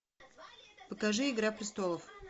покажи игра престолов